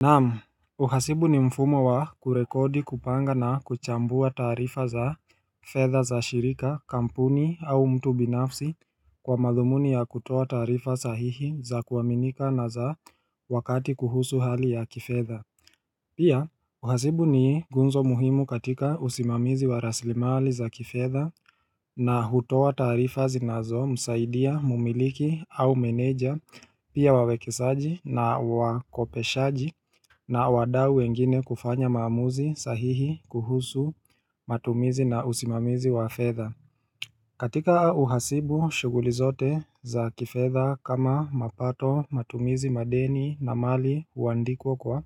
Naam uhasibu ni mfumo wa kurekodi kupanga na kuchambua taarifa za fedha za shirika kampuni au mtu binafsi kwa madhumuni ya kutoa taarifa sahihi za kuaminika na za wakati kuhusu hali ya kifedha Pia uhasibu ni nguzo muhimu katika usimamizi wa raslimali za kifedha na hutoa taarifa zinazomsaidia mumiliki au meneja pia wawekezaji na wakopeshaji na wadau wengine kufanya maamuzi sahihi kuhusu matumizi na usimamizi wa fedha katika uhasibu shughuli zote za kifedha kama mapato matumizi madeni na mali huandikwa kwa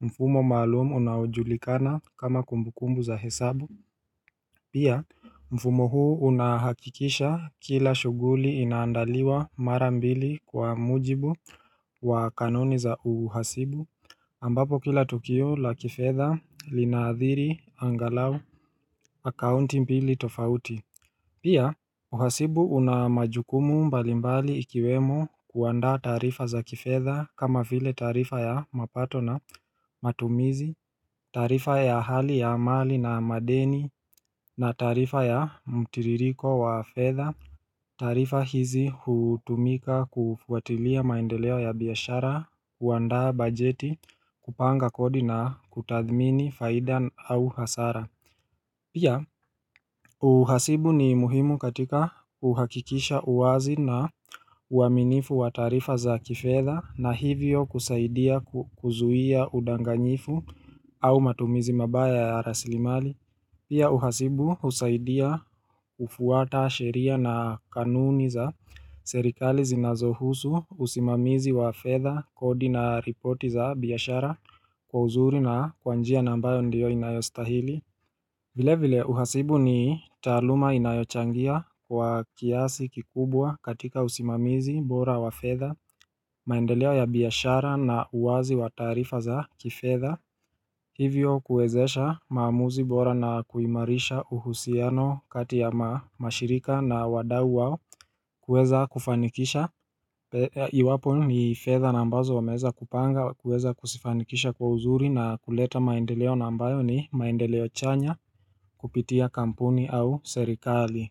mfumo maalum unaojulikana kama kumbukumbu za hesabu Pia mfumo huu unahakikisha kila shughuli inaandaliwa mara mbili kwa mujibu wa kanuni za uhasibu ambapo kila tokio la kifedha linaadhiri angalau akaunti mbili tofauti Pia uhasibu una majukumu mbalimbali ikiwemo kuandaa taarifa za kifedha kama vile taarifa ya mapato na matumizi, taarifa ya hali ya mali na madeni na taarifa ya mtiririko wa fedha taarifa hizi hutumika kufuatilia maendeleo ya biashara, kuandaa bajeti, kupanga kodi na kutathmini faida au hasara Pia uhasibu ni muhimu katika kuhakikisha uwazi na uaminifu wa taarifa za kifedha na hivyo kusaidia kuzuia udanganyifu au matumizi mabaya ya rasilimali Pia uhasibu husaidia kufuata sheria na kanuni za serikali zinazohusu usimamizi wa fedha, kodi na ripoti za biashara kwa uzuri na kwa njia na ambayo ndiyo inayostahili vile vile uhasibu ni taaluma inayochangia kwa kiasi kikubwa katika usimamizi, bora wa fedha, maendeleo ya biashara na uwazi wa taarifa za kifedha Hivyo kuwezesha maamuzi bora na kuimarisha uhusiano kati ya mashirika na wadau wao kuweza kufanikisha Iwapo ni fedha na ambazo wameweza kupanga kuweza kuzifanikisha kwa uzuri na kuleta maendeleo na ambayo ni maendeleo chanya kupitia kampuni au serikali.